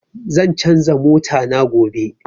Zan canza mota na gobe